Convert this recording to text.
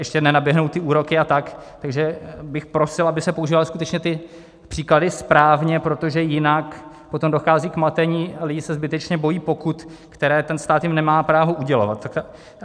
ještě nenaběhnou ty úroky a tak, takže bych prosil, aby se používaly skutečně ty příklady správně, protože jinak potom dochází k matení, lidi se zbytečně bojí pokut, které ten stát jim nemá právo udělovat.